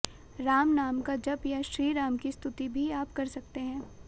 राम नाम का जप या श्री राम की स्तुति भी आप कर सकते हैं